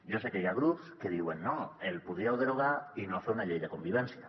jo sé que hi ha grups que diuen no el podríeu derogar i no fer una llei de convivència